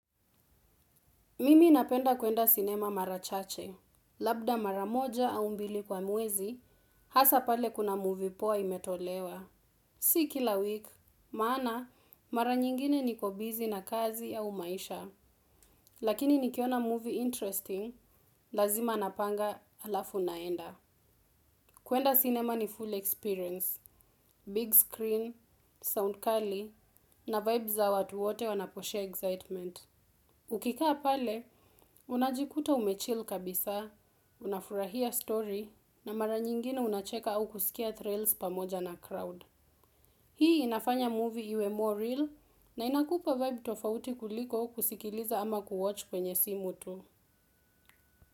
Mimi napenda kuenda sinema mara chache. Labda mara moja au mbili kwa mwezi hasa pale kuna movie poa imetolewa. Si kila week, maana, mara nyingine niko bussy na kazi au maisha. Lakini nikiona movie interesting, lazima napanga alafu naenda. Kuenda cinema ni full experience, big screen, sound kali, na vibes za watu wote wanaposhare excitement. Ukikaa pale, unajikuta umechil kabisa, unafurahia story na mara nyingine unacheka au kusikia trails pamoja na crowd. Hii inafanya movie iwe more real na inakupa vibe tofauti kuliko kusikiliza ama kuwatch kwenye simu tu.